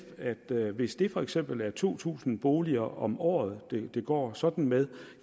at hvis det for eksempel er to tusind boliger om året det går sådan med